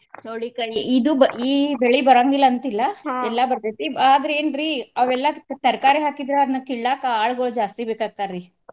ಚವ್ಳಿಕಾಯಿ ಇದು ಬ~ ಈ ಬೆಳಿ ಬರಾಂಗಿಲ್ಲ ಅಂತಿಲ್ಲ ಬರ್ತೈತಿ. ಆದ್ರ ಏನ್ರೀ ಅವೆಲ್ಲಾ ತರಕಾರಿ ಹಾಕಿದ್ರ ಅದನ್ನ ಕೀಳಾಕ ಆಳುಗೊಳ್ ಜಾಸ್ತಿ ಬೇಕಾಗ್ತಾರಿ.